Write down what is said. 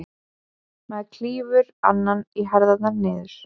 Maður klýfur annan í herðar niður.